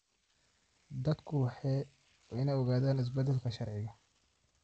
Dadku waa inay ogaadaan isbeddelka sharciga.